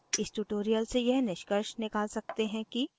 इस tutorial से यह निष्कर्ष निकाल सकते हैं कि